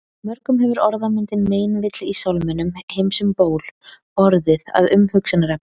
mörgum hefur orðmyndin meinvill í sálminum „heims um ból“ orðið að umhugsunarefni